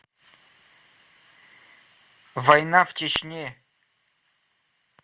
война в чечне